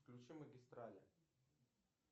включи магистрали